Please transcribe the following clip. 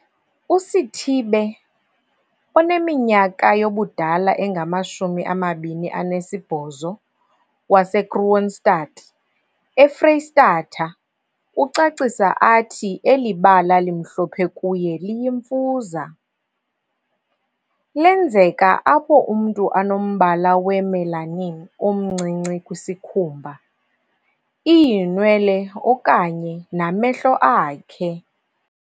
USithibe, oneminyaka yobudala engama-28, waseKroonstad, eFreyistatha, ucacisa athi eli bala limhlophe kuye liyimfuza. Lenzeka apho umntu anombala we-melanin omncinci kwisikhumba, iinwele okanye namehlo akhe.